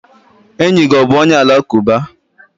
Enyi gị ọ bụ onye alakụba?